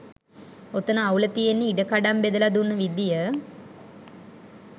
ඔතන අවුල තියෙන්නෙ ඉඩකඩම් බෙදල දුන්න විදිය